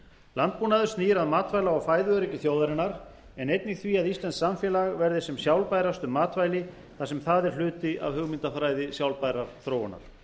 landbúnaður snýr að matvæla og fæðuöryggi þjóðarinnar en einnig því að íslenskt samfélag verði sem sjálfbærast um matvæli þar sem það er hluti af hugmyndafræði sjálfbærrar þróunar